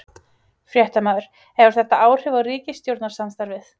Fréttamaður: Hefur þetta áhrif á ríkisstjórnarsamstarfið?